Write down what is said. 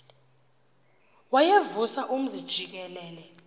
wayevusa umzi jikelele